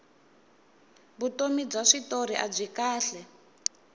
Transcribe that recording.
vutomi bya switori abyi kahle